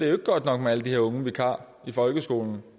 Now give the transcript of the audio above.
er godt nok med alle de her unge vikarer i folkeskolen